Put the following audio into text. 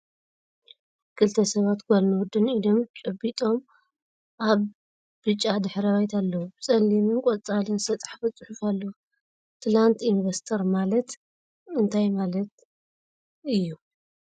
ክልተ ሰባት ጋልን ወድን ኢዶም ጨቢጦም እብ ብጫ ድሕረ ባይታ ኣለዉ ። ብ ፀሊምን ቆፃልን ዝተፀሓፈ ፅሑፍ ኣለዎ ። ትላንት ኢንቨስተር ማለት እንታይ ማለት እዩ ?